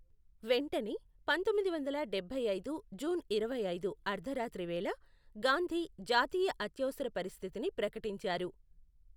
వెంటనే, పంతొమ్మిది వందల డబ్బై ఐదు జూన్ ఇరవై ఐదు అర్ధరాత్రి వేళ గాంధీ జాతీయ అత్యవసర పరిస్థితిని ప్రకటించారు.